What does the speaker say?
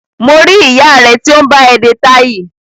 Mo rí ìyá rẹ tí ó ń bá ẹ de táì